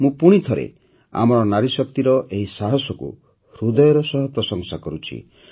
ମୁଁ ପୁଣିଥରେ ଆମର ନାରୀଶକ୍ତିର ଏହି ସାହସକୁ ହୃଦୟର ସହ ପ୍ରଶଂସା କରୁଛି